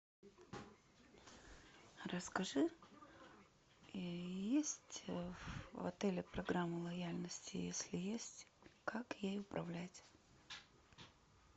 расскажи есть в отеле программа лояльности если есть как ей управлять